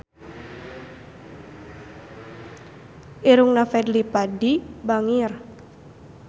Irungna Fadly Padi bangir